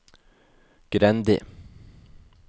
Grendi